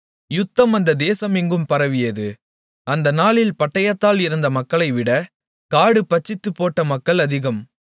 யுத்தம் அந்த தேசம் எங்கும் பரவியது அந்த நாளில் பட்டயத்தால் இறந்த மக்களைவிட காடு பட்சித்துப்போட்ட மக்கள் அதிகம்